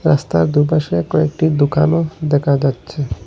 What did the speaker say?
রাস্তার দুপাশে কয়েকটি দুকানও দেখা যাচ্ছে।